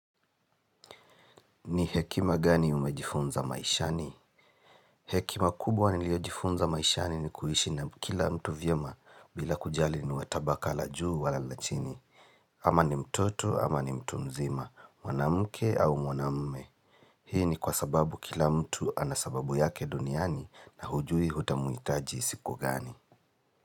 Ni hekima gani umejifunza maishani? Hekima kubwa niliojifunza maishani ni kuishi na kila mtu vyema bila kujali ni watabaka la juu wala la chini. Ama ni mtoto ama ni mtu mzima mwanamke au mwanamume. Hii ni kwa sababu kila mtu anasababu yake duniani na hujui hutamuhitaji siku gani?